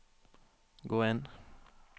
gå inn